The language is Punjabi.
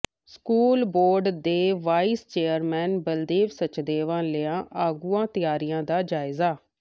ਸਕੂਲ ਬੋਰਡ ਦੇ ਵਾਈਸ ਚੇਅਰਮੈਨ ਬਲਦੇਵ ਸਚਦੇਵਾ ਲਿਆ ਅਗਾਊਂ ਤਿਆਰੀਆਂ ਦਾ ਜਾਇਜ਼ਾ